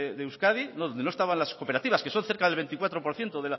de euskadi donde no estaban las cooperativas que son cerca del veinticuatro por ciento